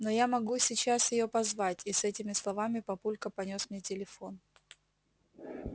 но я могу сейчас её позвать и с этими словами папулька понёс мне телефон